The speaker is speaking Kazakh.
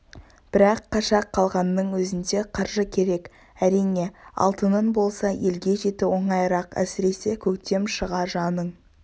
бірақ қаша қалғанның өзінде қаржы керек әрине алтының болса елге жету оңайырақ әсіресе көктем шыға жаның